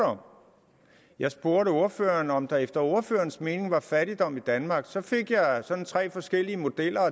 om jeg spurgte ordføreren om der efter ordførerens mening er fattigdom i danmark så fik jeg sådan tre forskellige modeller og